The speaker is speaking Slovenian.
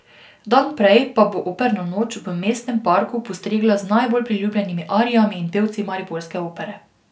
Dan prej pa bo Operna noč v mestnem parku postregla z najbolj priljubljenimi arijami in pevci mariborske Opere.